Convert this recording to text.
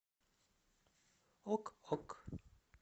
ок ок